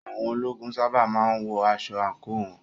Àwọn ológun sábà má ń wọ aṣọ àǹkóò wọn.